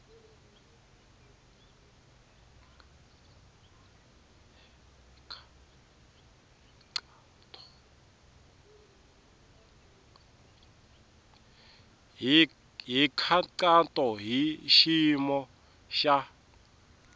hi nkhaqato hi xiyimo xa